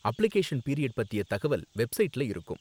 Application period பத்திய தகவல் வெப்சைட்ல இருக்கும்.